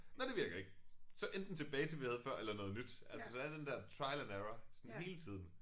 Nåh det virker ikke så enten tilbage til vi havde før eller noget nyt altså så er den der trial and error sådan hele tiden